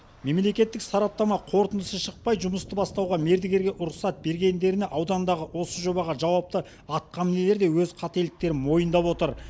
мемлекеттік сараптама қорытындысы шықпай жұмысты бастауға мердігерге рұқсат бергендеріне аудандағы осы жобаға жауапты атқа мінерлер де өз қателіктерін мойындап отыр